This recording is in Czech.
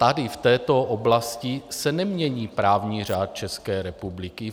Tady v této oblasti se nemění právní řád České republiky.